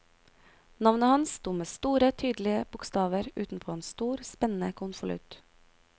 Navnet hans sto med store tydelige bokstaver utenpå en stor, spennende konvolutt.